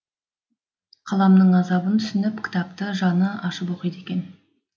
қаламның азабын түсініп кітапты жаны ашып оқиды екен